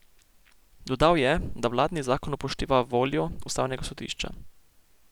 Dodal je, da vladni zakon upošteva voljo ustavnega sodišča.